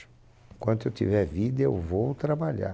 Enquanto eu tiver vida, eu vou trabalhar.